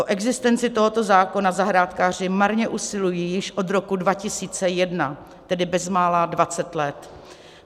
O existenci tohoto zákona zahrádkáři marně usilují již od roku 2001, tedy bezmála 20 let.